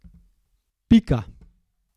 Pika.